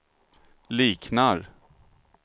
liknar